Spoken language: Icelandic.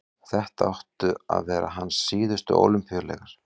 þetta áttu að vera hans síðustu ólympíuleikar